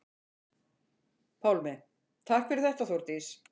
Pálmi: Takk fyrir þetta Þórdís.